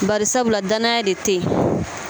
Barisabula danaya de tɛ ye.